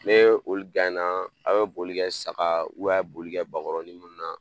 Ne olu na a bɛ boli kɛ saga a bɛ boli kɛ bakɔrɔnin minnu na